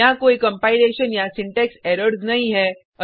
यहाँ कोई कंपाइलेशन या सिंटेक्स एरर्स नहीं है